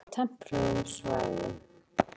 Hrafninn lifir á tempruðum svæðum.